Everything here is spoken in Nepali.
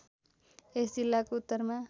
यस जिल्लाको उत्तरमा